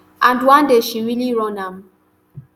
and one day she really run am